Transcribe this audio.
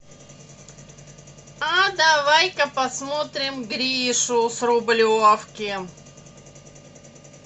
а давай ка посмотрим гришу с рублевки